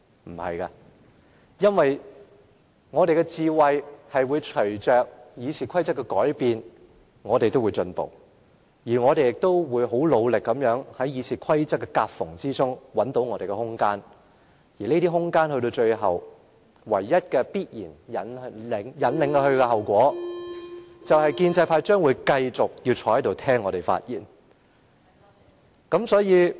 不是的，因為我們的智慧會隨着《議事規則》的改變而提升，而我們亦會很努力在《議事規則》的夾縫中找到我們的空間，而這些空間到了最後必然引領的後果，就是建制派議員將繼續要坐在這裏聽民主派議員發言。